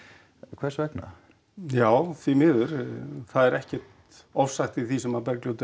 hvers vegna já því miður það er ekkert ofsagt í því sem Bergljót er